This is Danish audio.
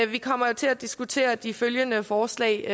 vi kommer til at diskutere de følgende forslag